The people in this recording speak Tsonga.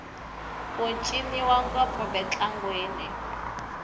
ku ciniwa ngopfu mintlangwini